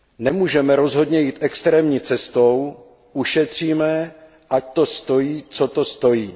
Nemůžeme rozhodně jít extrémní cestou ušetříme, ať to stojí, co to stojí.